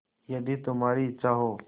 यदि तुम्हारी इच्छा हो